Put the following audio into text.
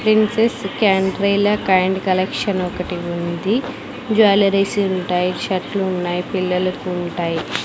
Princess kind collection ఒకటి ఉంది jewelleries ఉంటాయ్ షర్ట్లు ఉన్నాయ్ పిల్లలకుంటాయ్.